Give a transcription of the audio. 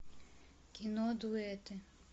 кино дуэты